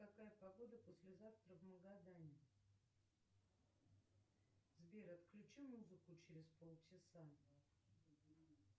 какая погода послезавтра в магадане сбер отключи музыку через полчаса